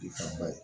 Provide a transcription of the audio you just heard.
I fan ba ye